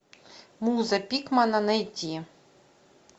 муза пикмана найти